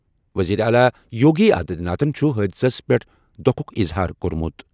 وزیر اعلیٰ یوگی آدتیہ ناتھَن چھُ حٲدثَس پٮ۪ٹھ دۄکھُک اِظہار کوٚرمُت۔